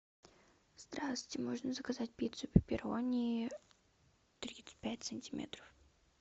здравствуйте можно заказать пиццу пепперони тридцать пять сантиметров